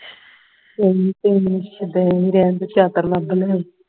ਕੋਈ ਨੀ ਕੋਈ ਸ਼ੁਦੈਣ ਹੀ ਰਹਿਣ ਦੋ ਚਤੁਰ ਲੱਭ ਲਵੋ